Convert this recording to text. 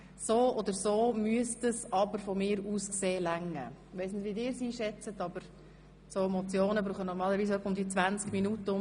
So müsste die Zeit ausreichen, denn Motionen brauchen normalerweise etwa 20 Minuten.